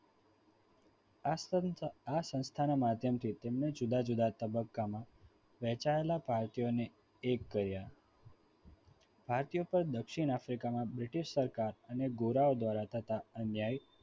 આ સંસ્થાના માધ્યમથી તેમણે જુદા જુદા તબક્કામાં વહેંચાયેલા party ઓને એક કર્યા ભારતીય પણ દક્ષિણ આફ્રિકામાં british રાજ અને ગોરાઓ દ્વારા થતા અન્ય